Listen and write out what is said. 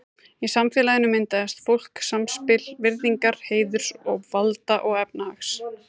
Í samfélaginu myndaðist flókið samspil virðingar, heiðurs, valda og efnahags.